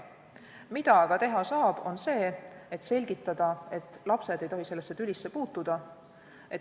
Mida aga teha saab, on see: saab selgitada, et lapsed ei tohi sellesse tülisse puutuda.